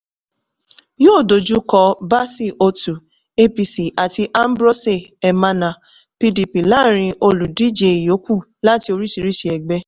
yóò dojú kọ bassey otu apc àti ambrose emana pdp láàrin olùdíje ìyókù láti oríṣiríṣi ẹgbẹ́.